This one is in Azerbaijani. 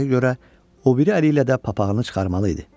Adətə görə, o biri əli ilə də papağını çıxarmalı idi.